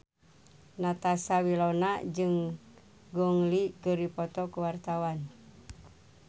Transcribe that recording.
Natasha Wilona jeung Gong Li keur dipoto ku wartawan